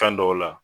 Kan dɔw la